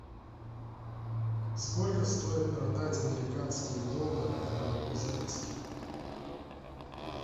сколько стоит продать американские доллары в новокузнецке